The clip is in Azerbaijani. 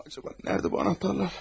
Acaba nədə bu anahtarlar?